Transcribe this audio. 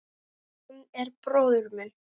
Hann er bróðir minn.